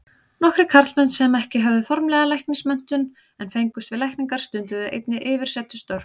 Nokkrir karlmenn sem ekki höfðu formlega læknismenntun en fengust við lækningar, stunduðu einnig yfirsetustörf.